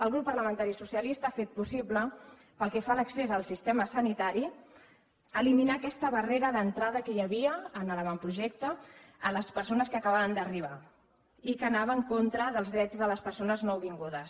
el grup parlamentari socialista ha fet possible pel que fa a l’accés al sistema sanitari eliminar aquesta barrera d’entrada que hi havia en l’avantprojecte a les persones que acabaven d’arribar i que anava en contra dels drets de les persones nouvingudes